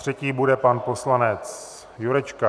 Třetí bude pan poslanec Jurečka.